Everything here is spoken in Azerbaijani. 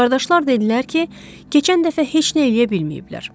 Qardaşlar dedilər ki, keçən dəfə heç nə eləyə bilməyiblər.